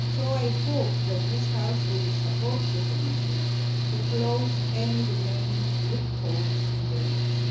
here. I hope that this House will support the Commission to close any remaining loopholes in the